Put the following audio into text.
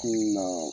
Kunun na